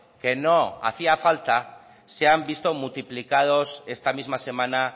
que no hacía falta se han visto multiplicados esta misma semana